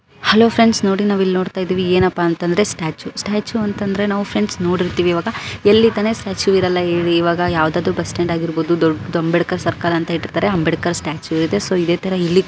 ನೋಡಿ ನಾವು ನೋಡ್ತಾ ಇದ್ದೀವಿ. ಏನಪ್ಪ ಅಂದ್ರೆ ಸ್ಟ್ಯಾಚು ಸ್ಟ್ಯಾಚು ಅಂತಂದ್ರೆ ನಾವು ಫ್ರೆಂಡ್ ನೋಡಿರ್ತೀವಿ ಇವಾಗ ಎಲ್ಲಿ ತಾನೇ ಸ್ಟ್ಯಾಚು ಇರಲ ಇವಾಗ ಯಾವುದು ಬೆಸ್ಟ್ ಸ್ಟಾಂಡ್ ಆಗಿರಬಹುದುದೊಡದು ದೊಡದು ಅಂಬೇಡ್ಕರ್ ಬೇಡ ಸರ್ಕಾರ ಅಂತ ಇದ್ದಾರೆ ಅಂಬೇಡ್ಕರ್ ಸ್ಟ್ಯಾಚು ಇದೆ. ಸೊ ಇದೆ ತರ ಇಲ್ಲಿ ಕೂಡ ನಾವು --